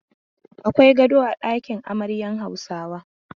Akwai gado a ɗakin amaryan Hausawa.